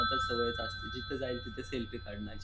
सतत सवयच असती जिथ जाईल तिथ सेल्फी काढण्याची.